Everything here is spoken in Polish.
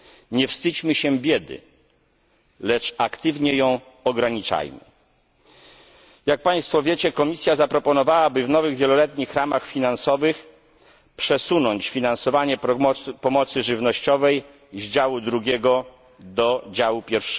Nie wstydźmy się biedy, lecz aktywnie ją ograniczajmy. Jak Państwo wiecie, Komisja zaproponowała, by w nowych wieloletnich ramach finansowych przesunąć finansowanie pomocy żywnościowej z działu II do działu I.